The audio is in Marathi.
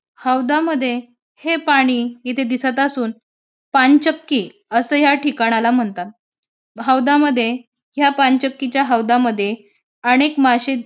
हौदामध्ये हे पाणी इथे दिसत असून पानचक्की असं या ठिकाणाला म्हणतात. हौदामध्ये या पानचक्कीच्या हौदामध्ये अनेक माशे --